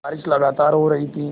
बारिश लगातार हो रही थी